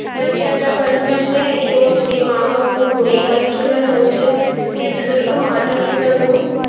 ਬੱਚਿਆਂ ਦਾ ਫ਼ਰਜ਼ ਬਣਦਾ ਹੈ ਕਿ ਆਪਣੇ ਮਾਂ ਬਾਪ ਨੂੰ ਕੋਈ ਵਸਤੂ ਨਾ ਸਮਝਣ ਤੇ ਬਜ਼ੁਰਗਾਂ ਮਾਤਾ-ਪਿਤਾ ਨੂੰ